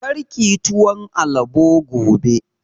Kar kiyi tuwon alabo gobe!